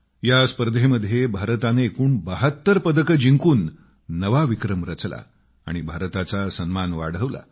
या स्पर्धेमध्ये भारताने एकूण 72 पदकं जिंकून नवा विक्रम रचला आणि भारताचा सन्मान वाढवला